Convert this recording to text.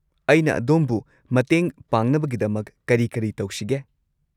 ꯑꯩꯅ ꯑꯗꯣꯝꯕꯨ ꯃꯇꯦꯡ ꯄꯥꯡꯅꯕꯒꯤꯗꯃꯛ ꯀꯔꯤ ꯀꯔꯤ ꯇꯧꯁꯤꯒꯦ?